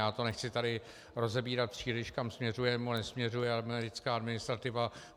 Já to nechci tady rozebírat příliš, kam směřuje nebo nesměřuje americká administrativa.